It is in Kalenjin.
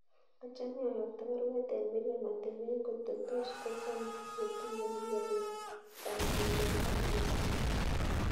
Achame ayokto baruet en Miriam ateben koto tos kocham ketuyen yebek kasit en kasit ab mut